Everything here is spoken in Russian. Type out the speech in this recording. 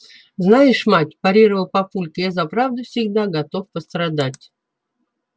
знаешь мать парировал папулька я за правду всегда готов пострадать